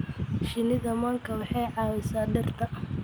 Shinnida manka waxay caawisaa dhirta.